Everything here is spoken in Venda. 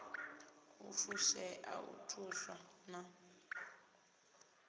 u fushea u thuswa na